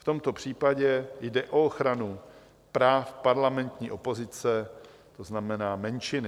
V tomto případě jde o ochranu práv parlamentní opozice, to znamená menšiny.